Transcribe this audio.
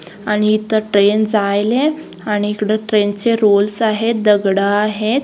आणि इथे ट्रेन्स आणि इकडे ट्रेन्स चे रोल्स आहेत दगडं आहेत.